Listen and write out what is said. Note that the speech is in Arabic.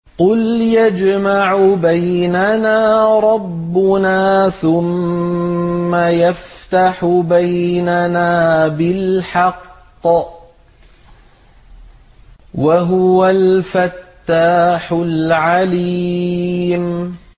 قُلْ يَجْمَعُ بَيْنَنَا رَبُّنَا ثُمَّ يَفْتَحُ بَيْنَنَا بِالْحَقِّ وَهُوَ الْفَتَّاحُ الْعَلِيمُ